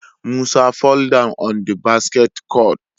Musa fall down on the basketball court